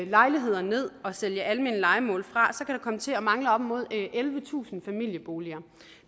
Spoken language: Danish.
lejligheder ned og sælge almene lejemål fra komme til at mangle op imod ellevetusind familieboliger